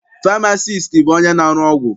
Famasiisti bụ onye na-arụ ọgwụ.